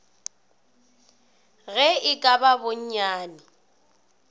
ge e ka ba bonnyane